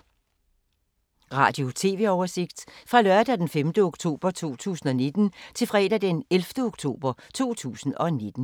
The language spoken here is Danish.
Radio/TV oversigt fra lørdag d. 5. oktober 2019 til fredag d. 11. oktober 2019